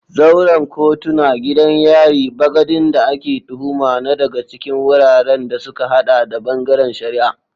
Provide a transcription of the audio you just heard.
Zauren kotuna, gidan yari, bagadin da ake tuhuma na daga cikin wuraren da suka hada da bangaren shari'a.